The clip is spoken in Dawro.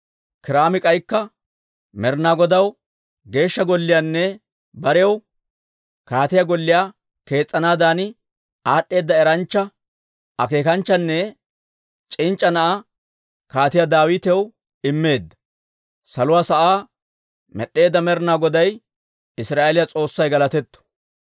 Kiiraami k'aykka, «Med'inaa Godaw Geeshsha Golliyaanne barew kaatiyaa golliyaa kees's'anaadan aad'd'eeda eranchcha, akeekanchchanne c'inc'c'a na'aa Kaatiyaa Daawitaw immeedda, saluwaa sa'aa med'd'eedda Med'inaa Goday, Israa'eeliyaa S'oossay galatetto.